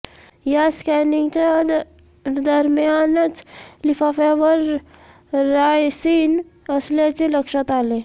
या स्कॅनिंगच्या दरम्यानच लिफाफ्यावर रायसिन असल्याचे लक्षात आले